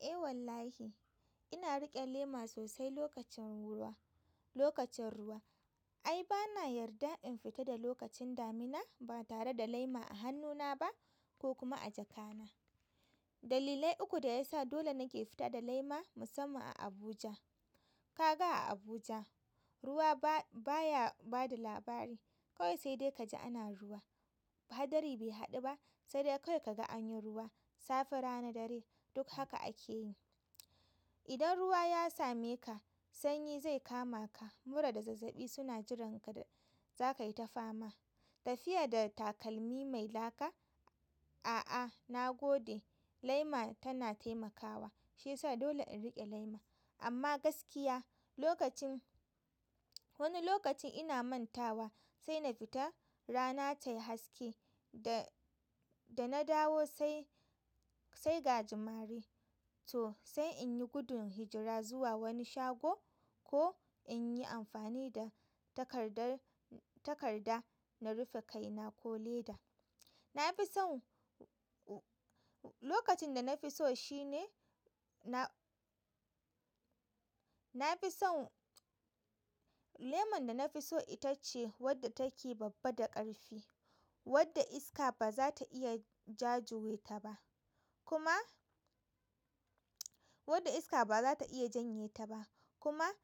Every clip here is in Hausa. Eh wallahi ina riƙe lema sosai lokacin ruwa, lokacin ruwa. Ai bana yarda in fita da lokacin damina ba tare da lema a hannuna ba ko kuma a jaka na. Dalilai uku da ya sa dole nake fita da lema musamman a Abuja. Kaga a Abuja ruwa baya, baya bada labari kawai sai dai ka ji ana ruwa. Hadari bai haɗu ba sai dai kawai kaga anyi ruwa safe, rana, dare duk haka ake yi. Idan ruwa ya same ka sanyi zai kama ka mura da zazzaɓi suna jiran ka da za ka yi ta fama. Tafiya da takalmi mai laka. A'a, na gode lema tana taimakawa shiyasa dole in riƙe lema. Amma gaskiya lokacin wani lokacin ina mantawa sai na fita rana tayi haske dana dawo sai sai ga jimare to sai in yi gudun hijira zuwa wani shago ko in yi amfani da takardar, takarda na rufe kaina ko leda. Na fi son u-u-u lokacin da na fi so shine na, na fi son leman da na fi so ita ce wadda take babba da ƙarfi wadda iska ba za ta iya jajuyeta ba kuma wadda iska ba za ta iya janyeta ba kuma,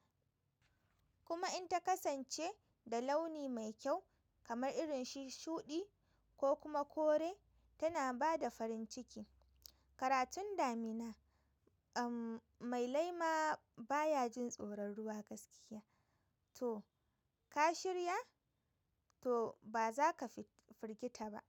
kuma in ta kasance da launi mai kyau kamar irin shuɗi ko kuma kore tana ba da farin ciki. Karatun damina mai lema baya jin tsoron ruwa gaskiya to ka shirya? To ba za ka fi firgita ba.